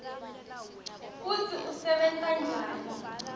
kutsi usebenta njani